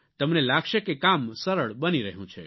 તમને લાગશે કે કામ સરળ બની રહ્યું છે